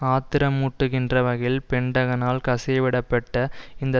ஆத்திரமூட்டுகின்ற வகையில் பென்டகனால் கசியவிடப்பட்ட இந்த